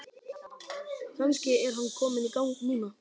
Kannski er hann kominn í gang núna?